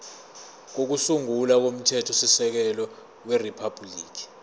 kokusungula komthethosisekelo weriphabhuliki